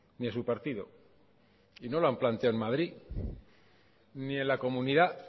ni a su partido y no lo han planteado en madrid ni en la comunidad